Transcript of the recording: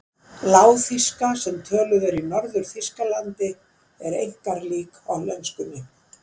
Lágþýska, sem töluð er í Norður-Þýskalandi, er einkar lík hollenskunni.